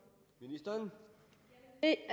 af